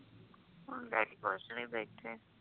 ਹੁਣ daddy ਕੁਛ ਨੀ ਬੈਠੇ